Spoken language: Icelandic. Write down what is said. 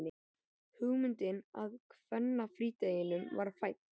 Hugmyndin að kvennafrídeginum var fædd.